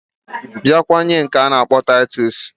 Biakwa nwee nke ana akpo titus